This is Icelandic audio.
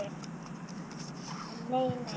En nei nei.